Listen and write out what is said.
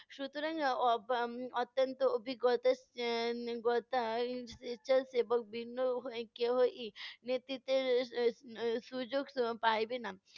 সুতরাং, অ~ অব~ উম অত্যন্ত অভিজ্ঞতা এর অভিজ্ঞতা এর স্বেচ্ছাসেবক ভিন্ন কেহই নেতৃত্বের এর এর সুযোগ এর পাইবে না।